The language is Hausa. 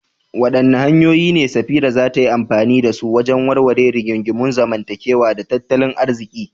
Wadanne hanyoyi ne Safira za ta yi amfani da su wajen warware rigingimun zamantakewa da tattalin arziki?